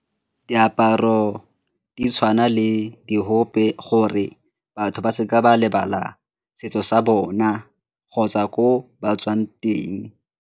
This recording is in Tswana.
Diaparo di tshwana le diope ke gore batho ba seka ba lebala setso sa bona kgotsa ko ba tswang teng.